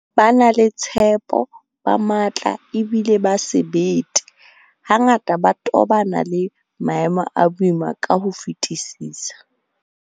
Ba na le tshepo, ba matla ebile ba sebete, hangata ba tobana le maemo a boima ka ho fetisisa.